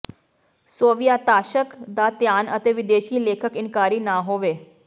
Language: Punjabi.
ਸੋਵੀਅਤ ਾਸ਼ਕ ਦਾ ਧਿਆਨ ਅਤੇ ਵਿਦੇਸ਼ੀ ਲੇਖਕ ਇਨਕਾਰੀ ਨਾ ਹੋਵੋ